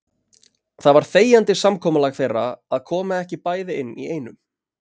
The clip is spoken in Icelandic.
Það var þegjandi samkomulag þeirra að koma ekki bæði inn í einu.